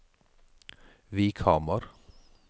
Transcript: Vikhamar